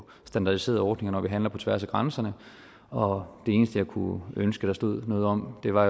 standardiserede ordninger når vi handler på tværs af grænserne og det eneste jeg kunne ønske der stod noget om var